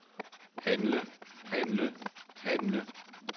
handle handle handle